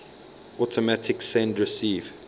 automatic send receive